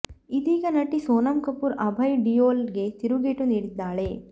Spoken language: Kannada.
ಇದೀಗ ನಟಿ ಸೋನಂ ಕಪೂರ್ ಅಭಯ್ ಡಿಯೋಲ್ ಗೆ ತಿರುಗೇಟು ನೀಡಿದ್ದಾಳೆ